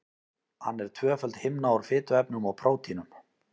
Hann er tvöföld himna úr fituefnum og prótínum.